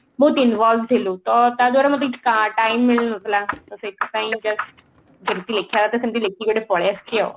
ବହୁତ involve ଥିଲୁ ତ ତାଦ୍ୱାରା ମତେ କିଛି କା time ମିଳୁନଥିଲା ତ ସେଥିପାଇଁ just ଯେମତି ଲେଖିବା କଥା ସେମଟି ଲେଖିକି ଗୋଟେ ପଳେଈ ଆସିଛି ଆଉ